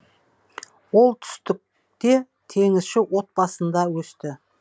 ол түстікте теңізші отбасында өсті